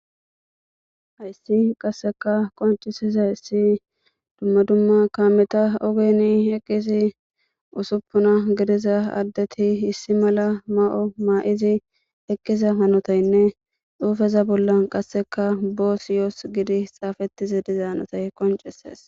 hayssi qasseka koncisizayssi dumma dumma kaameta ogeni eqqisi usuppuna gidiza addeti issi mala ma7o maa7izi eqqiza hanotaynne xuufeza bolla qasseka boos yoos gidi xaafetizi dizaanotay qoncises